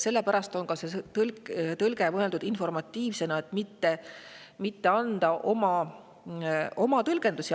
Sellepärast on see tõlge mõeldud informatiivsena, et mitte anda asjadele oma tõlgendusi.